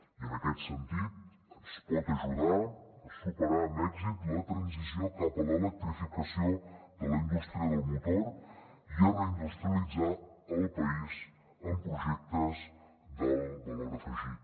i en aquest sentit ens pot ajudar a superar amb èxit la transició cap a l’electrificació de la indústria del motor i a reindustrialitzar el país amb projectes d’alt valor afegit